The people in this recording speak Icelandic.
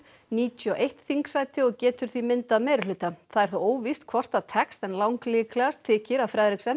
níutíu og eitt þingsæti og getur því myndað meirihluta það er þó óvíst hvort það tekst en langlíklegast þykir að